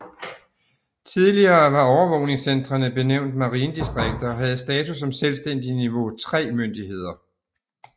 Tidligere var overvågningscentrene benævnt marinedistrikter og havde status som selvstændige niveau III myndigheder